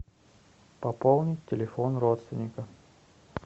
пополнить телефон родственника